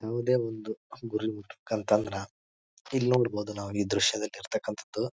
ಯಾವುದೇ ಒಂದು ಗುರಿ ಮುಟ್ಟಬೇಕ ಅಂತಂದ್ರ ಇಲ್ ನೋಡಬಹುದ ನಾವು ಈ ದೃಶ್ಯದಲ್ ಇರ್ತಕ್ಕಂಥದ್ದು--